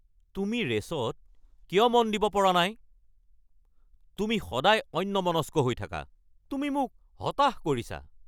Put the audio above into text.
তুমি ৰে'চত কিয় মন দিব পৰা নাই? তুমি সদায় অন্যমনস্ক হৈ থাকা। তুমি মোক হতাশ কৰিছা।